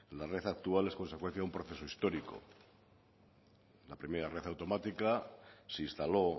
la red actual es consecuencia de un proceso histórico la primera red automática se instaló